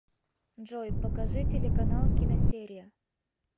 джой покажи телеканал киносерия